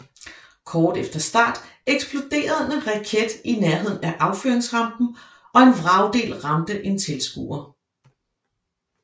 Kort efter start eksploderede en raket i nærheden af affyringsrampen og en vragdel ramte en tilskuer